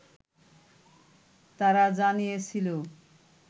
তারা জানিয়েছিল